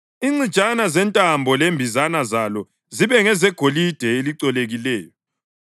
Incijana zentambo lembizana zalo zibe ngezegolide elicolekileyo.